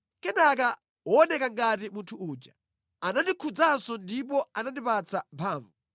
Kenaka wooneka ngati munthu uja anandikhudzanso ndipo anandipatsa mphamvu.